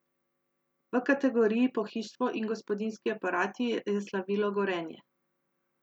V kategoriji pohištvo in gospodinjski aparati je slavilo Gorenje.